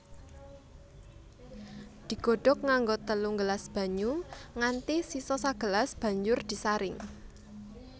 Digodhog nganggo telung gelas banyu nganti sisa sagelas banjur disaring